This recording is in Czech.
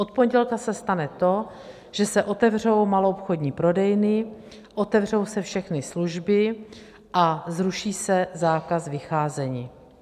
Od pondělka se stane to, že se otevřou maloobchodní prodejny, otevřou se všechny služby a zruší se zákaz vycházení.